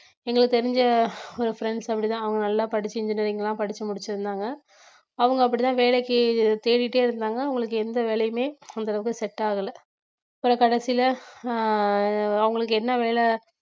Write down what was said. எங்களுக்கு தெரிஞ்ச ஒரு friends அப்படித்தான் அவங்க நல்லா படிச்சு engineering எல்லாம் படிச்சு முடிச்சிருந்தாங்க அவங்க அப்படித்தான் வேலைக்கு தேடிட்டே இருந்தாங்க அவங்களுக்கு எந்த வேலையுமே அந்த அளவுக்கு set ஆகலை அப்புறம் கடைசியில ஆஹ் அவங்களுக்கு என்ன வேலை